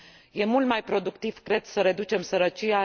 Este mult mai productiv, cred, să reducem sărăcia.